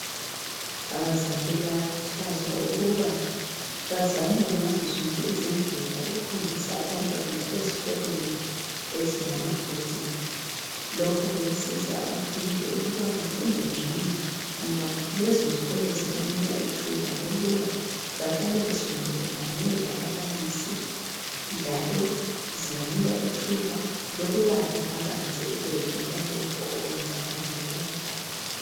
Abazali bayakhuthazwa ukuba bazame ngazozonke izindlela ukuhambisa abantwana ezikolweni ezilama boarding. Lokhu kuyasiza abafundi ukuthi bafunde ngcono ngoba lezozikolo zibanika ithuba bahlale besondelelane lababalisi njalo zibanika ithuba lokubala kabanzi ukwedlula lokhu okwenzalayo nxa bengekhaya.